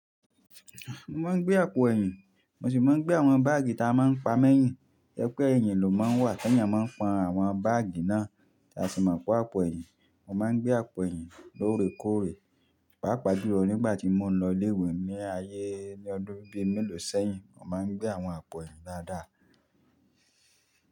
Mo máa ń gbé àpò ẹ̀yìn, mo sì máa ń gbé àwọn báàgì ta máa ń pa mẹ́yìn. Ẹ pé ẹ̀yìn ló máa ń wà tẹ́yan máa ń pọn àwọn báàgì náà tí a sì máa ń pé àpò ẹ̀yìn. Mo máa ń gbé àpò ẹ̀yìn lóore kóòre, pàápàá jù lọ nígbà tí mo ń lọ ilé ìwé ní ayé ní ọdún bíi mélòó sẹ́yìn, mo máa ń gbé àwọn àpò ẹ̀yìn dáadáa.